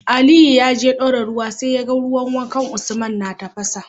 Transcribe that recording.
Aliyu yaje dora ruwa sai yaga ruwan wankan usman na tafasa